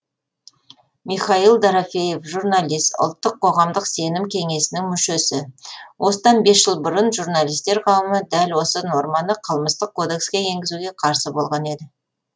михаил дорофеев журналист ұлттық қоғамдық сенім кеңесінің мүшесі осыдан бес жыл бұрын журналистер қауымы дәл осы норманы қылмыстық кодекске енгізуге қарсы болған еді